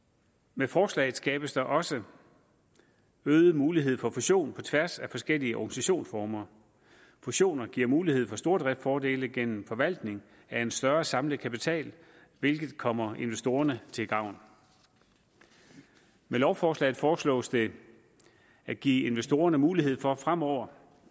med forslaget skabes der også øget mulighed for fusion på tværs af forskellige organisationsformer fusioner giver mulighed for stordriftsfordele gennem forvaltning af en større samlet kapital hvilket kommer investorerne til gavn med lovforslaget foreslås det at give investorerne mulighed for fremover